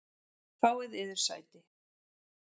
Fáið yður sæti.